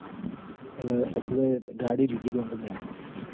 એટલ પસ મેં ગાડી લીધી wrong માં